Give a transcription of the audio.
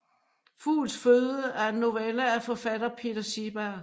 Fugls føde er en novelle af forfatter Peter Seeberg